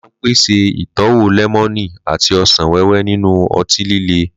Limca ń pèsè ìtọ́wò lẹ́mọ́nì àti ọsàn wẹ́wẹ́ nínú ọtí líle.